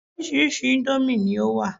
Orírìsíírìí íńdómì ni ó wà.